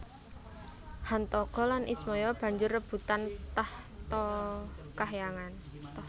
Hantaga lan Ismaya banjur rebutan tahta kahyangan